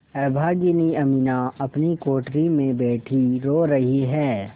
अभागिनी अमीना अपनी कोठरी में बैठी रो रही है